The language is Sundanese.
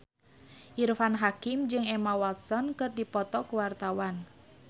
Irfan Hakim jeung Emma Watson keur dipoto ku wartawan